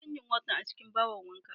Inason yin wanka a cikin bahon wanka.